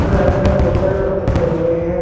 और में बहुत सारे पत्ते पड़े हुए हैं।